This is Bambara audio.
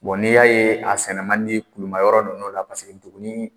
n'i y'a ye a sɛnɛ man di kulumayɔrɔ ninnu la paseke duguni